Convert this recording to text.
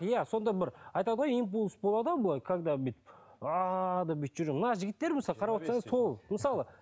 иә сондай да бір айтады ғой импульс болады ғой былай когда бүйтіп деп бүйтіп жүрген мына жігіттер мысалы қарап отырсаң сол мысалы